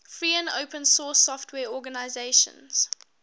free and open source software organizations